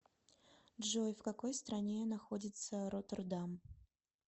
джой в какой стране находится роттердам